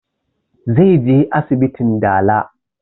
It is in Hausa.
Zai je asibitin dala